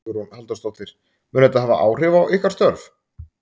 Hugrún Halldórsdóttir: Mun þetta hafa áhrif á ykkar störf?